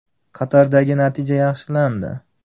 Qatardagi natija yaxshilandi.